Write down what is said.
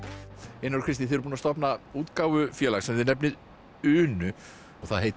einar og Kristín þið búin að stofna útgáfufélag sem þið nefnið Unu og það heitir